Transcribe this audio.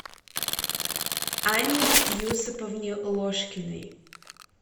анне юсуповне ложкиной